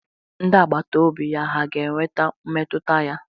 Ndị agbata obi ya hà ga-enweta mmetụta ya?